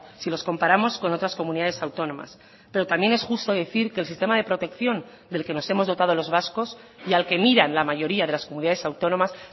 si los comparamos con otras comunidades autónomas pero también es justo decir que el sistema de protección del que nos hemos dotado los vascos y al que miran la mayoría de las comunidades autónomas